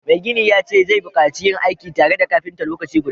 Mai gini ya ce zai bukaci yin aiki tare da kafinta lokaci guda